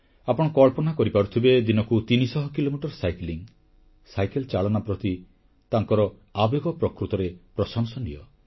ଆପଣ କଳ୍ପନା କରିପାରୁଥିବେ ଦିନକୁ 300 କିଲୋମିଟର ସାଇକେଲ ଚାଳନା ପ୍ରତି ତାଙ୍କର ଆବେଗ ପ୍ରକୃତରେ ପ୍ରଶଂସନୀୟ